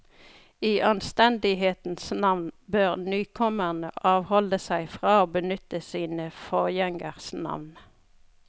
I anstendighetens navn bør nykommerne avholde seg fra å benytte sine forgjengeres navn.